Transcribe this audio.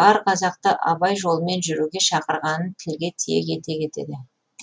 бар қазақты абай жолымен жүруге шақырғанын тілге тиек ете кетеді